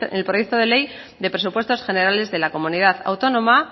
en el proyecto de ley de presupuestos generales de la comunidad autónoma